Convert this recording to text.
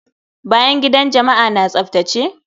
Bayan gidan jama'a na tsaftace?